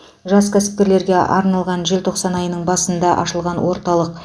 жас кәсіпкерлерге арналған желтоқсан айының басында ашылған орталық